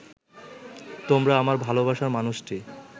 তোমরা আমার ভালোবাসার মানুষটি